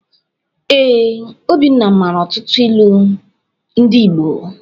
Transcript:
Ee, Obinna mara ọtụtụ ilu ndị Igbo.